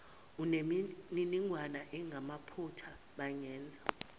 anemininingwane engamaphutha bangenza